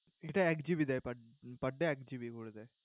এটা এক GB দেয় per per day এক GB করে দেয়।